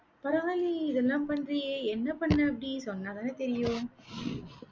பரவாயில்லையே, இதெல்லாம் பண்றியே என்ன பண்ண அப்படி சொன்னாதானே தெரியும்.